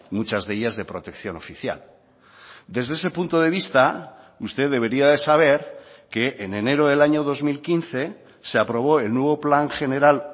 muchas de ellas de protección oficial desde ese punto de vista usted debería de saber que en enero del año dos mil quince se aprobó el nuevo plan general